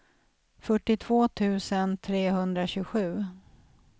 fyrtiotvå tusen trehundratjugosju